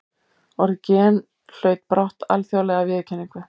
Orðið gen hlaut brátt alþjóðlega viðurkenningu.